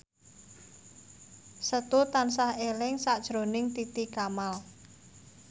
Setu tansah eling sakjroning Titi Kamal